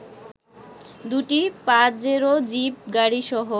দু'টি Pajero jeep গাড়িসহ